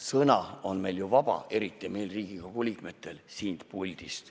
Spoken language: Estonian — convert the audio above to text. Sõna on meil ju vaba, eriti meil Riigikogu liikmetel siin puldis.